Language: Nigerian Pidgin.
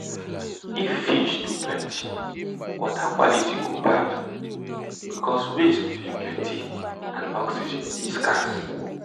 if fish too plenty water quality go bad because waste dey plenty and oxygen dey scarce